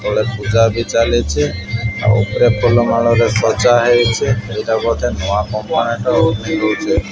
ପୂଜା ଆଦି ଚାଲିଛି ଆଉ ଉପରେ ଫୁଲମାଳ ରେ ସଜା ହେଇଛି ଏଇଟା ବୋଧେ ନୂଆ କମ୍ପୋନେଣ୍ଟ ଓପନିଙ୍ଗ୍ ହଉଛି।